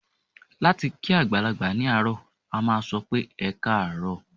Láti kí àgbàlagbà ní àárọ̀, a máa sọ pé "ẹkáàárọ̀".